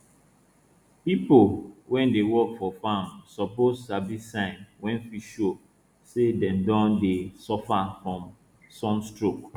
pipo wey dey work for farm suppose sabi signs wey fit show say dem don dey suffer from sun stroke